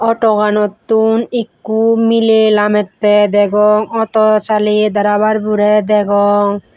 auto ganottun ekko mile lamette degong auto saleye draver bore degong.